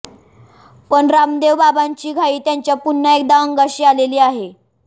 पण रामदेव बाबांची घाई त्यांच्या पुन्हा एकदा अंगाशी आलेली आहे